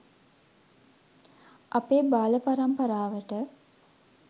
අපේ බාලපරම්පරාවට